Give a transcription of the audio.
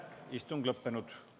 Istung on lõppenud.